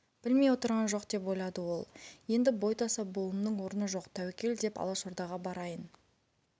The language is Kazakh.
білмей отырған жоқ деп ойлады ол енді бойтаса болуымның орны жоқ тәуекел деп алашордаға барайын